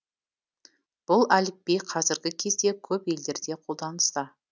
бұл әліпби қазіргі кезде көп елдерде қолданыста